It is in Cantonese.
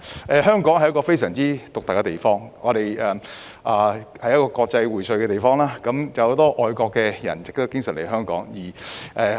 香港是非常獨特的地方，是國際薈萃的地方，很多外國人士經常來港。